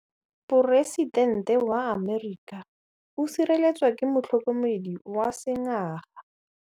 Poresitêntê wa Amerika o sireletswa ke motlhokomedi wa sengaga.